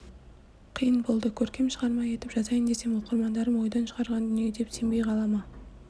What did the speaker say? қиын болды көркем шығарма етіп жазайын десем оқырмандарым ойдан шығарған дүние деп сенбей қала ма